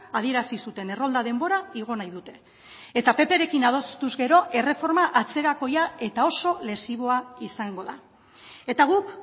adierazi zuten errolda denbora igo nahi dute eta pprekin adostuz gero erreforma atzerakoia eta oso lesiboa izango da eta guk